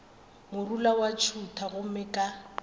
morula wa ntšhutha gomme ka